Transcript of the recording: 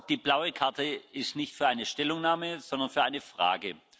Die blaue Karte ist nicht für eine Stellungnahme, sondern für eine Frage.